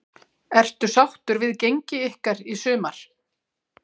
Ertu sáttur við gengi ykkar í sumar?